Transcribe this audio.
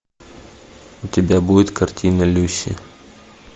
у тебя будет картина люси